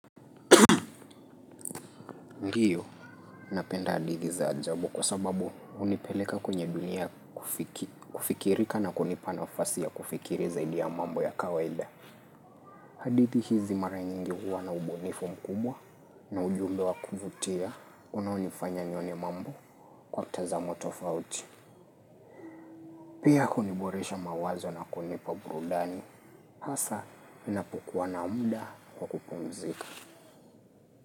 Ndio, napenda hadithi za ajabu kwa sababu hunipeleka kwenye dunia kufikirika na kunipa nafasi ya kufikiri zaidi ya mambo ya kawaida. Hadithi hizi mara nyingi huwa na ubunifu mkubwa na ujumbe wa kuvutia unaonifanya nione mambo kwa mtazamo tofauti. Pia kuni boresha mawazo na kunipa burudani. Hasa, unapokua na muda kwa kupumzika.